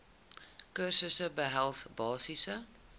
kursusse behels basiese